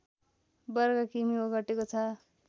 वर्ग किमि ओगटेको छ